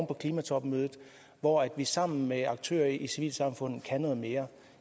på klimatopmødet hvor vi sammen med aktører i civilsamfundet kan noget mere